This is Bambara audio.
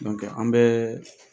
an bɛɛɛ